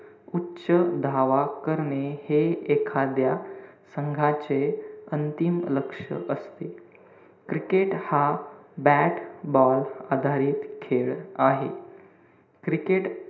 उच्च धाव करणे हे एखाद्या संघाचे अंतिम लक्ष असते. cricket हा bat ball आधारित खेळ आहे. cricket,